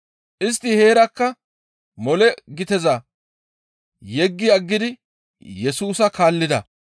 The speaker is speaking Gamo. Istti heerakka mole giteza yeggi aggidi Yesusa kaallida.